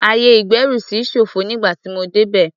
Ayè-ìgbẹ́rùsí ṣófo nígbà tí mo débẹ̀.